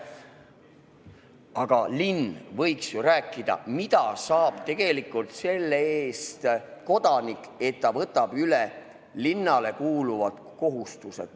Aga linn võiks ju rääkida, mida kodanik tegelikult selle eest saab, kui ta võtab üle linnale kuuluvad kohustused.